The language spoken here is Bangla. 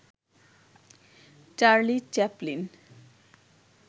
Charlie Chaplin